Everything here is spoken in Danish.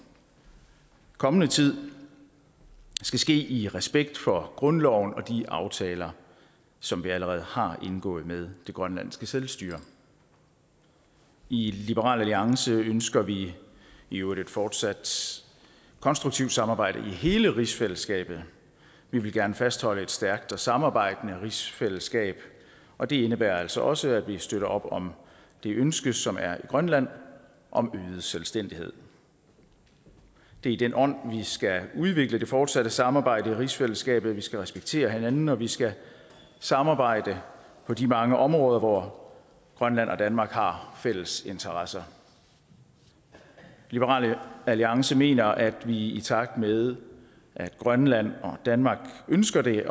kommende tid skal ske i respekt for grundloven og de aftaler som vi allerede har indgået med det grønlandske selvstyre i liberal alliance ønsker vi i øvrigt et fortsat konstruktivt samarbejde i hele rigsfællesskabet vi vil gerne fastholde et stærkt og samarbejdende rigsfællesskab og det indebærer altså også at vi støtter op om det ønske som er i grønland om øget selvstændighed det er i den ånd vi skal udvikle det fortsatte samarbejde i rigsfællesskabet vi skal respektere hinanden og vi skal samarbejde på de mange områder hvor grønland og danmark har fælles interesser liberal alliance mener at vi i takt med at grønland og danmark ønsker det